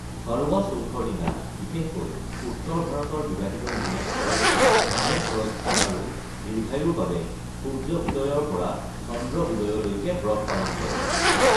কৰৱা চৌথৰ দিনা বিশেষকৈ উত্তৰ ভাৰতৰ বিবাহিত মহিলাসকলে স্বামীৰ সুৰক্ষা আৰু দীৰ্ঘায়ুৰ বাবে সূৰ্য্য উদয়ৰ পৰা চন্দ্ৰ উদয়লৈকে ব্ৰত পালন কৰে।